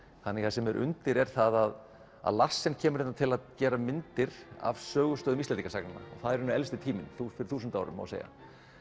það sem er undir er að að Larsen kemur hingað til að gera myndir af sögustöðum Íslendingasagna það er í raun elsti tíminn fyrir þúsund árum má segja